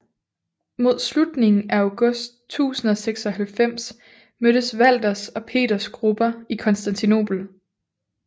Mod slutningen af august 1096 mødtes Walthers og Peters grupper i Konstantinopel